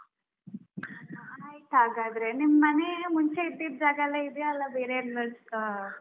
ಆಯ್ತಾಗಾದ್ರೆ ನಿಮ್ ಮನೆ ಮುಂಚೆ ಇದ್ದಿದ್ ಜಾಗಲ್ಲೇ ಇದೆಯಾ ಅಲ್ಲಾ ಬೇರೆ like ?